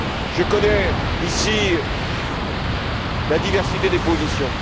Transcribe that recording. Je connais, ici, la diversité des positions.